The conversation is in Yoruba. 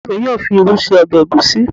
Ìyá mi yóò fi irú ṣe ọbẹ̀ ègúsi.